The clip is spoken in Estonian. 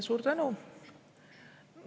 Suur tänu!